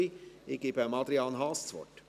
Ich gebe Adrian Haas das Wort.